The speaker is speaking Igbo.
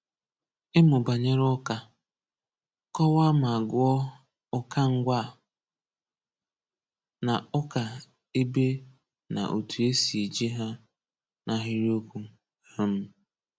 Ịmụ banyere Ụka, Kọwaa ma gụọ Ụka Ngwa na Ụka Ebe na otu esi e ji ji ha n’ahịrịokwu. um